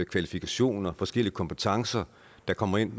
kvalifikationer og forskellige kompetencer der kommer ind